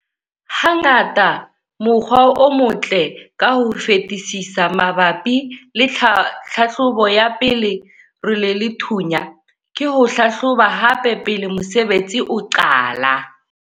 Hangata mokgwa o motle ka ho fetisisa mabapi le tlhahlobo ya pele role le thunya, ke ho hlahloba hape pele mosebetsi o qala.